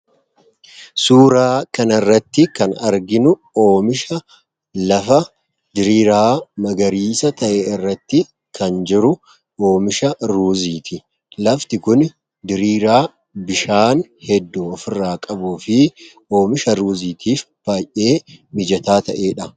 Suuraa kan irratti kan arginuu oomisha lafa diriiraa magariisaa ta'e irratti kan jiru oomisha ruuziiti. Lafti kun diriiraa bishaan heddu ofirraa qabu fi oomisha ruuziitiif baay'ee mijataa ta'eedha.